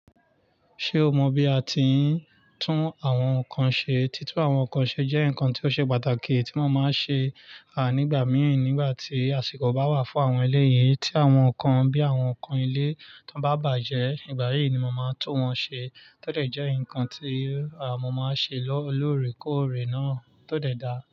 Ṣé o mọ bí a ti ń tún àwọn nǹkan ṣe? Títún àwọn ǹkan ṣe jẹ́ ǹkan tí ó ṣe pàtàkì, tí mo má ń ṣe nígbà mi, nígbà tí àsìkò báwà fún àwọn eléyìí tí àwọn ǹkan bí àwọn ǹkan ilé tí wọ́n bá bàjẹ́. Ìgbà yìí ni mo máa tún wọ́n ṣe, tọ́ dé jẹ́ nǹkan tí mo máa ń ṣe lórèkóòrè náà tó dẹ̀ da.